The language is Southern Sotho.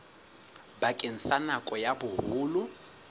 bakeng sa nako ya boholo